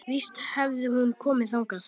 Það var fólk þarna inni!